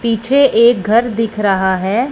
पीछे एक घर दिख रहा है।